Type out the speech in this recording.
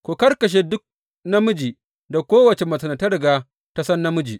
Ku karkashe duk namiji da kowace macen da ta riga ta san namiji.